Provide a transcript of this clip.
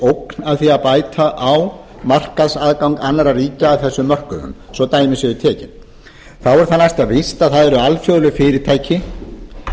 af því að bæta á markaðsaðgang annarra ríkja að þessum mörkuðum svo dæmi séu tekin þá er það næsta víst að það eru alþjóðleg fyrirtæki